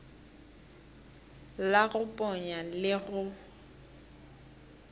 la go ponya le go